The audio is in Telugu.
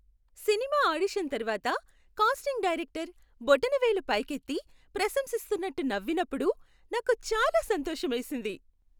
సినిమా ఆడిషన్ తర్వాత కాస్టింగ్ డైరెక్టర్ బొటనవేలు పైకెత్తి ప్రశంసిస్తున్నట్టు నవ్వినప్పుడు నాకు చాలా సంతోషమేసింది.